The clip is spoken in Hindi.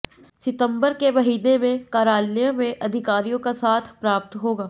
सितंबर के महीने में कार्यालय में अधिकारियों का साथ प्राप्त होगा